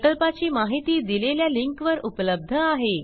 प्रकल्पाची माहिती दिलेल्या लिंकवर उपलब्ध आहे